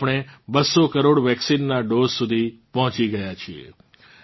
આપણે 200 કરોડ વેક્સીનનાં ડોઝ સુધી પહોંચી ગયા છીએ